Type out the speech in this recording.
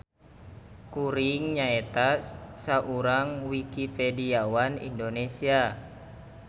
Kuring nyaeta saurang Wikipediawan Indonesia.